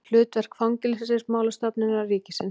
Hlutverk Fangelsismálastofnunar ríkisins.